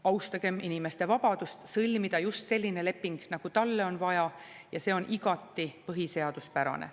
Austagem inimeste vabadust sõlmida just selline leping, nagu talle on vaja, ja see on igati põhiseaduspärane.